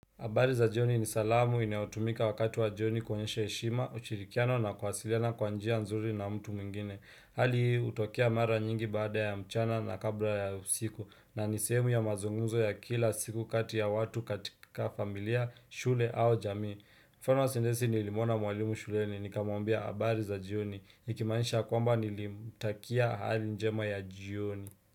Abari za jioni ni salamu inautumika wakatu wa jioni kwenyesha heshima, uchirikiano na kwasiliana kwanjia nzuri na mtu mingine. Hali hii utokea mara nyingi bada ya mchana na kabla ya usiku na nisemu ya mazunguzo ya kila siku kati ya watu katika familia, shule au jamii. Mfano wa sindesi nilimuona mwalimu shule ni nikamwambia abari za jioni. Nikimanisha kwamba nilimtakia hali njema ya jioni.